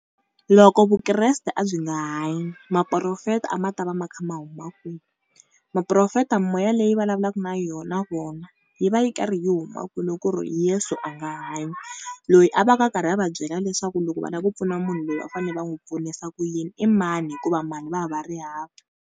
Loko Vukreste a byi nga hanyi, mapurofeta a ma ta va ma kha ma huma kwini? Mapurofeta mimoya leyi vulavulaka na yona, na vona yi va yi karhi yi huma kwihi loko ku ri Yesu a nga hanyi? Loyi a vaka a karhi a va byela leswaku loko va lava ku pfuna munhu loyi va fane va n'wi pfunisa ku yini i mani hikuva mali va va va ri hava?